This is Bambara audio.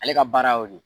Ale ka baara y'o de ye